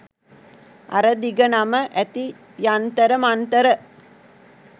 අර දිග නම ඇති යන්තර මන්තර